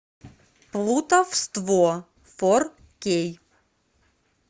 плутовство фор кей